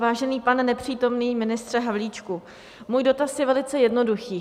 Vážený pane nepřítomný ministře Havlíčku, můj dotaz je velice jednoduchý.